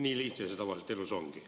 Nii lihtne see tavaliselt ongi.